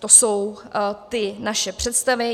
To jsou ty naše představy.